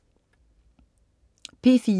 P4: